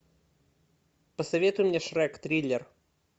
посоветуй мне шрек триллер